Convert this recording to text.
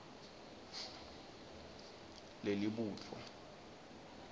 lelibutfo